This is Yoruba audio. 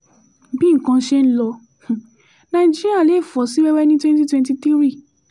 bí nǹkan ṣe ń lọ nàìjíríà lè fọ́ sí wẹ́wẹ́ ní twenty twenty three